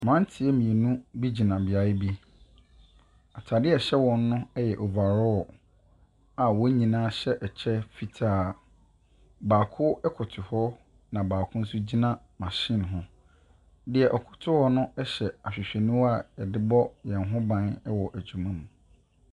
Mmeranteɛ mmienu bi gyina beaeɛ bi. Atadeɛ a ɛhyɛ wɔn no yɛ over raw, a wɔn nyinaa hyɛ ɛkyɛ fitaa. Baako koto hɔ, ɛna baako nso kyina machine ho. Deɛ ɔkoto hɔ no hyɛ ahwehwɛniwa a wɔde bɔ wɔn ho ban wɔ adwuma mu.